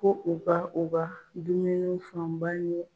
Ko u ka u ka dumuniw fanba ɲu